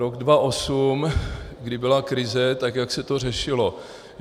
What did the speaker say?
Rok 2008, kdy byla krize, tak jak se to řešilo?